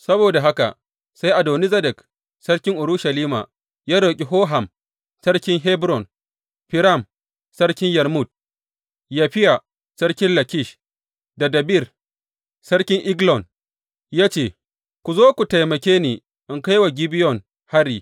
Saboda haka sai Adoni Zedek sarkin Urushalima ya roƙi Hoham sarkin Hebron, Firam sarkin Yarmut, Yafiya sarkin Lakish da Debir sarki Eglon ya ce, Ku zo ku taimake ni in kai wa Gibeyon hari.